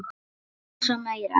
Eins og maurar.